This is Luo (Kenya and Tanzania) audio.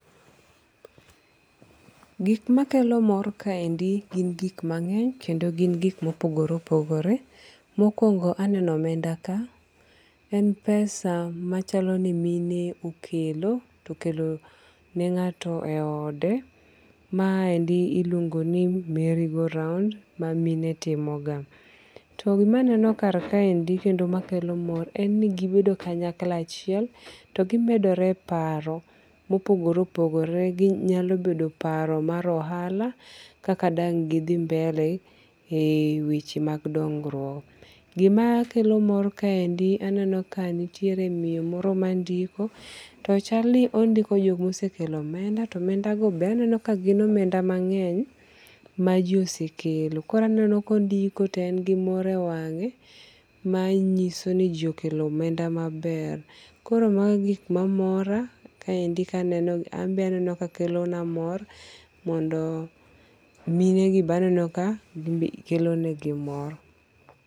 Gik ma kelo mor kaendi gin gik mange'ny kendo gin gik ma opogore opogore, mokuongo aneno omenda ka en pesa machalo ni mine okelo, okelone ngato e ode maendi iluongo' ni Merry go round ma mine timoga to gimaneno kar kaendi makelo mor en ni gibedo kanyakla achiel togimedore paro ma opogore opogore ginyalo bedo paro mar ohala kaka ne githi mbele e weche mag ding'ruok. Gimakelo mor kar kaendi aneno ka nitiere miyo moro mandiko, to chani ondiko joma osekelo omenda to omendago be aneno kagin omenda mangeny ma ji osekelo. Koro aneno ka ondiko to en gi mor e wange' manyiso niji okelo omenda maber. Koro magi gik mamora kaendi ka aneno ka ambe aneno ka kelona mor mondo, minegi be aneno ka kelonegi mor.